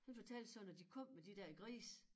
Han fortalte sådan at de kom med de der grise